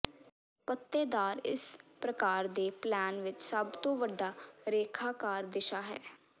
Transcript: ਪੱਤੇਦਾਰ ਇਸ ਪ੍ਰਕਾਰ ਦੇ ਪੈਨਲ ਵਿੱਚ ਸਭ ਤੋਂ ਵੱਡਾ ਰੇਖਾਕਾਰ ਦਿਸ਼ਾ ਹੈ